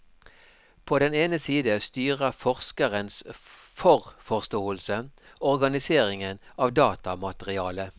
På den ene side styrer forskerens forforståelse organiseringen av datamaterialet.